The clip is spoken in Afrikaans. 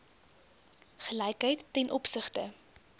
gelykheid ten opsigte